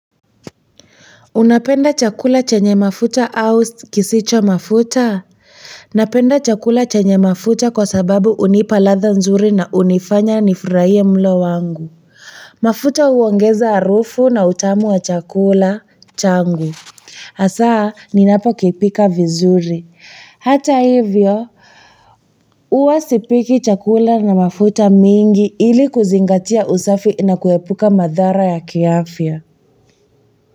Unapenda chakula chenye mafuta au kisicho mafuta? Napenda chakula chenye mafuta kwa sababu hunipa ladha nzuri na hunifanya nifurahie mlo wangu. Mafuta huongeza harufu na utamu wa chakula, changu. Asaa, ninapokipika vizuri. Hata hivyo, huwa sipiki chakula na mafuta mengi ili kuzingatia usafi na kuepuka madhara ya kiafya.